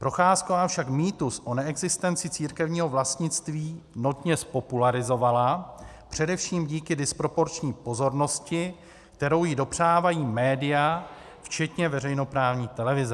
Procházková však mýtus o neexistenci církevního vlastnictví notně zpopularizovala, především díky disproporční pozornosti, kterou ji dopřávají média včetně veřejnoprávní televize.